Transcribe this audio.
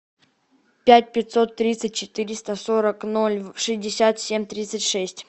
пять пятьсот тридцать четыреста сорок ноль шестьдесят семь тридцать шесть